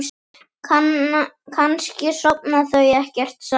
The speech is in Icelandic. Kannski sofa þau ekkert saman?